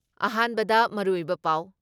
ꯑꯍꯥꯟꯕꯗ ꯃꯔꯨꯑꯣꯏꯕ ꯄꯥꯎ